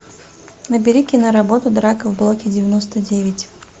набери киноработу драка в блоке девяносто девять